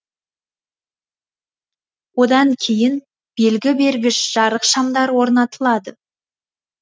одан кейін белгі бергіш жарық шамдары орнатылады